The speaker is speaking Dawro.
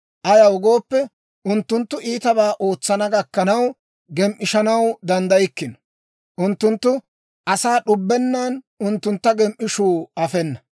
Ayaw gooppe, unttunttu iitabaa ootsana gakkanaw, gem"ishshanaw danddaykkino; unttunttu asaa d'ubbennan unttuntta gem"ishuu afena.